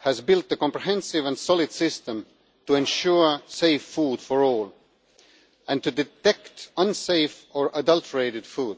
has built a comprehensive and solid system to ensure safe food for all and to detect unsafe or adulterated food.